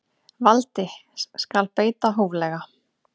Valdi skal beita hóflega.